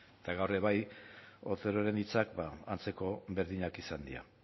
eta gaur ere bai oteroren hitzak antzeko berdinak izan dira